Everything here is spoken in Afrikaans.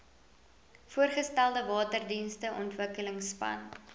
voorgestelde waterdienste ontwikkelingsplan